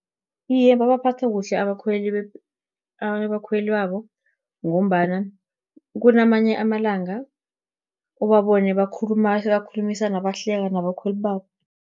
Iye, babaphatha kuhle abakhweli babo, ngombana kunamanye amalanga, ubabone bakhulumisana, bahluleka nabakhweli babo.